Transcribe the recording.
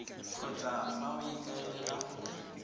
kgotsa fa o ikaelela go